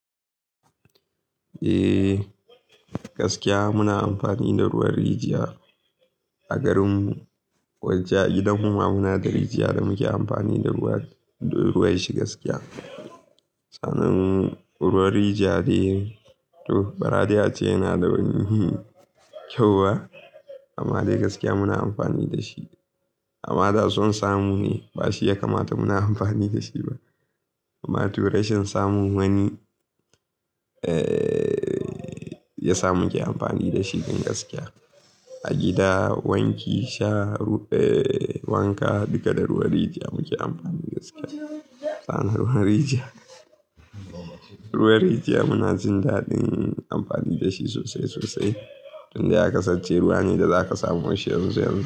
Eh, gaskiya muna amfani da ruwan rijiya, a garum mu, ko in ce a gidan muma muna da rijiya da muke amfani da ruwan shi gaskiya. Sanan, ruwan rijiya dai, to bara dai a ce yana da wani hhm kyau hwa amma de gaskiya muna amfani da shi. Ama da son samu ne, ba shi ya kamata muna amfani da shi ba. Amma to rashin samun wani, eh ya sa muke amfani da shi dan gaskiya. A gida, wanki, sha, eh wanka duka da ruwan rijiya muke amfani gaskiya. Anna ma rijiya, ruwan rijiya muna jin daɗin amfani da shi sosai sosai. Tun da ya kasance ruwa ne da zaka samo shi yanzu-yanzu.